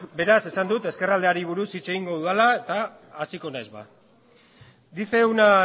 beraz esan dut ezkerraldeari buruz hitz egingo dudala eta hasiko nahiz ba dice una